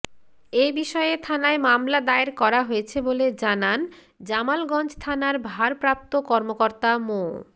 এবিষয়ে থানায় মামলা দায়ের করা হয়েছে বলে জানান জামালগঞ্জ থানার ভারপ্রাপ্ত কর্মকর্তা মো